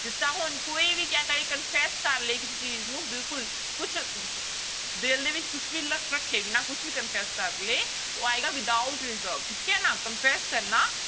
ਜਿਸ ਤਰ੍ਹਾਂ ਹੁਣ ਕੋਈ ਵੀ ਕਿਆ ਕਰੇ confess ਕਰ ਲਏ ਕਿਸੇ ਚੀਜ਼ ਨੂੰ ਬਿਲਕੁਲ ਕੁਛ ਦਿਲ ਦੇ ਵਿੱਚ ਕੁਛ ਵੀ ਲ ਰੱਖੇ ਬਿਨਾਂ ਕੁਛ ਵੀ confess ਕਰ ਲਏ ਉਹ ਆਏਗਾ without reserve ਠੀਕ ਹੈ ਨਾ confess ਕਰਨਾ